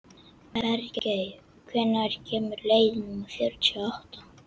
Bergey, hvenær kemur leið númer fjörutíu og átta?